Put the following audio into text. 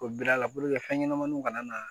O biri a la fɛn ɲɛnɛmaninw kana na